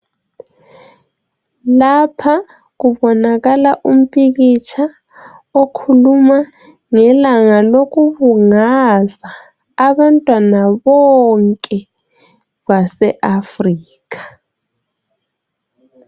Napha kubonakala umpikitsha okhuluma ngelanga loku kungaza abantwana bonke baseAfrica.